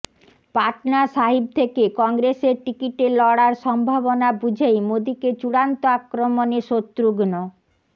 পাটনা সাহিব থেকে কংগ্রেসের টিকিটে লড়ার সম্ভাবনা বুঝেই মোদীকে চূড়ান্ত আক্রমণে শত্রুঘ্ন